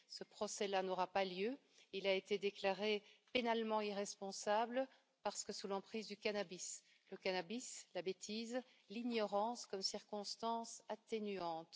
Ce procès là n'aura pas lieu, il a été déclaré pénalement irresponsable parce que sous l'emprise du cannabis. Le cannabis, la bêtise, l'ignorance comme circonstances atténuantes...